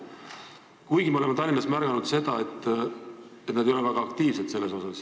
Kuigi me oleme Tallinnas märganud seda, et nad ei ole väga aktiivsed.